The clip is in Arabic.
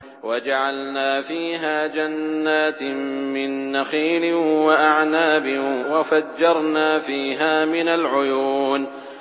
وَجَعَلْنَا فِيهَا جَنَّاتٍ مِّن نَّخِيلٍ وَأَعْنَابٍ وَفَجَّرْنَا فِيهَا مِنَ الْعُيُونِ